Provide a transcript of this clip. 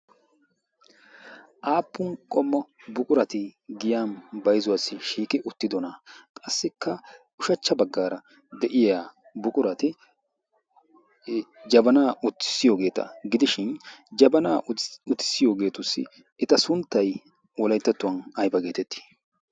Aappun qommo buqurati giyan bayzuwaassi shiiki uttidona qassikka ushachcha baggaara de'iya buqurati jabanaa utissiyoogeeta gidishin jabanaa utissiyoogeetussi eta sunttai olaittattuwan aiba geetettii?